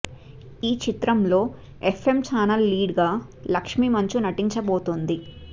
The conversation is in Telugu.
ఈ చిత్రం లో ఎఫ్ఎం చానెల్ లీడ్ గా లక్ష్మి మంచు నటించబోతుంది